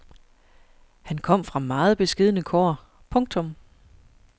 Han kom fra meget beskedne kår. punktum